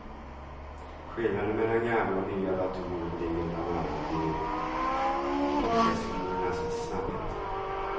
Skillnaden mellan gamla och nya datorer ligger bland annat i processorernas snabbhet.